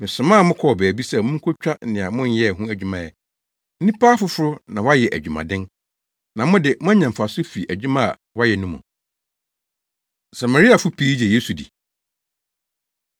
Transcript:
Mesomaa mo kɔɔ baabi sɛ munkotwa nea monyɛe ho adwuma ɛ. Nnipa afoforo na wɔayɛ adwumaden, na mo de, moanya mfaso afi adwuma a wɔayɛ no mu.” Samariafo Pii Gye Yesu Di